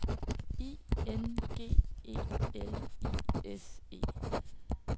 I N G E L I S E